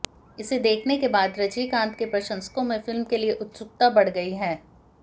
इसे देखने के बाद रजनीकांत के प्रशंसकों में फिल्म के लिए उत्सुकता बढ़ गई है